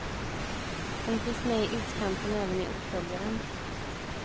Hon finns med i utkanten även i uppföljaren.